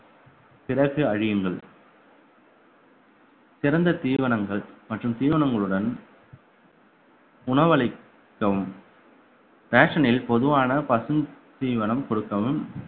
பிறகு அழியுங்கள் சிறந்த தீவனங்கள் மற்றும் தீவனங்களுடன் உணவளிக்கவும் basin ல் பொதுவான பசுந்தீவனம் கொடுக்கவும்